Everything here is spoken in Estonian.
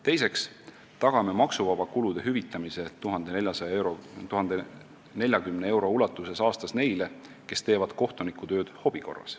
Teiseks tagame maksuvaba kulude hüvitamise 1040 euro ulatuses aastas neile, kes teevad kohtunikutööd hobi korras.